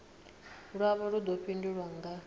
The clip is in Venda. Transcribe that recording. lwavho lu ḓo fhindulwa nga